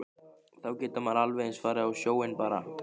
Þá getur maður alveg eins farið á sjóinn bara.